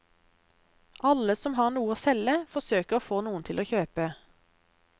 Alle som har noe å selge forsøker å få noen til å kjøpe.